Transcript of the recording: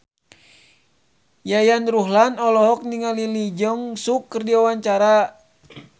Yayan Ruhlan olohok ningali Lee Jeong Suk keur diwawancara